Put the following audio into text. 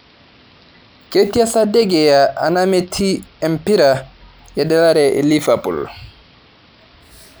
ketii sa Degea anaa metii empira eddalare lifapul